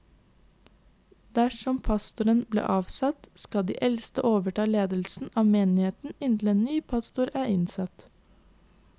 Dersom pastoren blir avsatt, skal de eldste overta ledelsen av menigheten inntil ny pastor er innsatt.